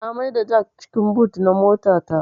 Na mai da jak cikin but na mota ta